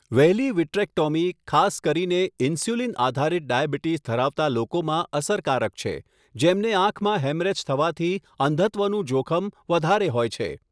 વહેલી વિટ્રેક્ટોમી ખાસ કરીને ઇન્સ્યુલિન આધારિત ડાયાબિટીસ ધરાવતા લોકોમાં અસરકારક છે, જેમને આંખમાં હેમરેજ થવાથી અંધત્વનું જોખમ વધારે હોય છે.